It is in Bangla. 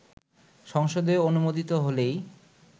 সংসদে অনুমোদিত হলেই